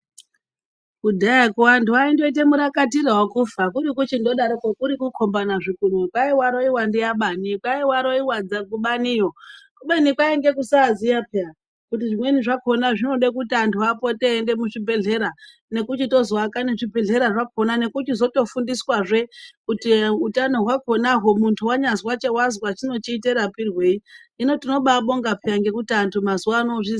Kudhayakwo antu aindoita murakatira wekufa kuri kuchindodatokwo kukhomba a zvikunwe kwai waroiwa ndiaBani kwai waroiwa kubaniyo kubeni kwainga kusaziya peya kuti zvimweni zvakhona zvaida kuenda muzvibhedhlera nekuchiyozoaka nezvibhedhlera kukona nekuchitozofundiswazve kuti utano hwakhonazve muntu wanyazwa chinochiite marapirwei hino tinobabonga ngekuti antu mazuwano ozviziya.